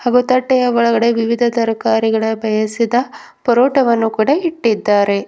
ಹಾಗು ತಟ್ಟೆಯ ಒಳಗಡೆ ವಿವಿಧ ತರಕಾರಿಗಳ ಬೇಯಸಿದ ಪರೋಟವನ್ನು ಕೂಡ ಇಟ್ಟಿದ್ದಾರೆ.